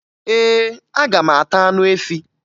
Ee, aga m ata anụ efi